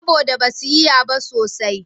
Saboda da ba su iya ba sosai